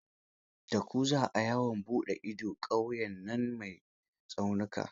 Da ku za a yawan buɗe ido ƙauyen nan mai tsaunuka?